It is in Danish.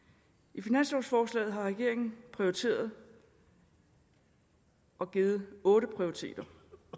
i finanslovforslaget har regeringen prioriteret og givet otte prioriteter